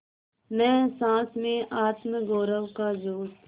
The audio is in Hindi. न सास में आत्मगौरव का जोश